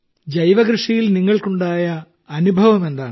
ജൈവകൃഷിയിൽ നിങ്ങൾക്കുണ്ടായ അനുഭവം എന്താണ്